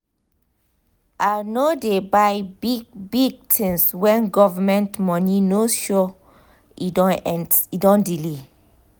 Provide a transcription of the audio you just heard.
i no dey buy big-big things when government money no sure or e don delay